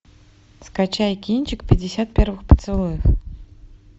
скачай кинчик пятьдесят первых поцелуев